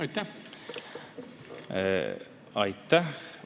Aitäh!